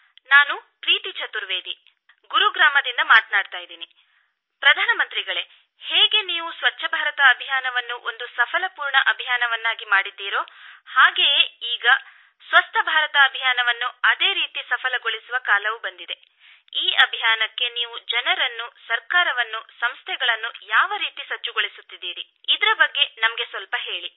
ನಾನು ಪ್ರೀತಿ ಚತುರ್ವೇದಿ ಗುರುಗ್ರಾಮದಿಂದ ಮಾತನಾಡುತ್ತಿದ್ದೇನೆ ಪ್ರಧಾನಮಂತ್ರಿಗಳೇ ಹೇಗೆ ನೀವು ಸ್ವಚ್ಚಭಾರತ ಅಭಿಯಾನವನ್ನು ಒಂದು ಸಫಲಪೂರ್ಣ ಅಭಿಯಾನವನ್ನಾಗಿ ಮಾಡಿದ್ದೀರೋ ಹಾಗೆಯೇ ಈಗ ಸ್ವಸ್ಥ ಭಾರತ ಅಭಿಯಾನವನ್ನು ಅದೇ ರೀತಿ ಸಫಲಗೊಳಿಸುವ ಕಾಲವು ಬಂದಿದೆ ಈ ಅಭಿಯಾನಕ್ಕೆ ನೀವು ಜನರನ್ನು ಸರ್ಕಾರವನ್ನು ಸಂಸ್ಥೆಗಳನ್ನು ಯಾವ ರೀತಿ ಸಜ್ಜುಗೊಳಿಸುತ್ತಿದ್ದೀರಿ ಇದರ ಬಗ್ಗೆ ನಮಗೆ ಸ್ವಲ್ಪ ಹೇಳಿ